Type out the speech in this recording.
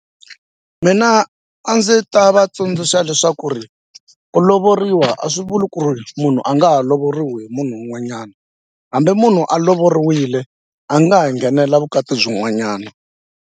Mina a ndzi ta va tsundzuxa leswaku ri ku lovoriwa a swi vuli ku ri munhu a nga ha lovoriwini munhu un'wanyana hambi munhu a lovoriwile a nga ha nghenela vukati byin'wanyana.